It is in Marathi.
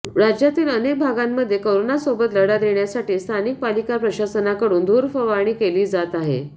राज्यातील अनेक भागांमध्ये करोनासोबत लढा देण्यासाठी स्थानिक पालिका प्रशासनाकडून धूरफवारणी केली जात आहे